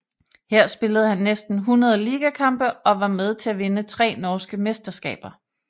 Her spillede han næsten 100 ligakampe og var med til at vinde tre norske mesterskaber